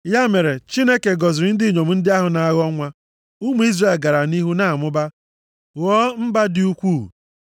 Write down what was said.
Ya mere, Chineke gọziri ndị inyom ndị ahụ na-aghọ nwa. Ụmụ Izrel gara nʼihu na-amụba, ghọọ mba dị ukwuu.